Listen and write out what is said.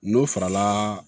N'o farala